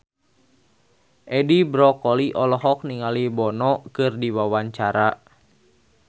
Edi Brokoli olohok ningali Bono keur diwawancara